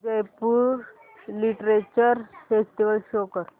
Jaipur literature festival show कर